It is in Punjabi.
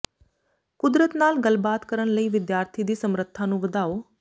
ਕੁਦਰਤ ਨਾਲ ਗੱਲਬਾਤ ਕਰਨ ਲਈ ਵਿਦਿਆਰਥੀ ਦੀ ਸਮਰੱਥਾ ਨੂੰ ਵਧਾਓ